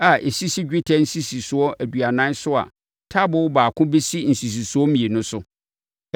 a ɛsisi dwetɛ nsisisoɔ aduanan so a taaboo baako bɛsi nsisisoɔ mmienu so.